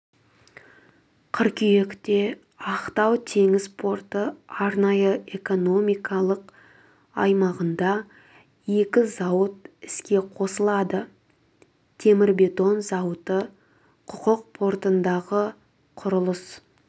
қыркүйекте ақтау теңіз порты арнайы экономикалық аймағында екі зауыт іске қосылады темірбетон зауыты құрық портындағы құрылыс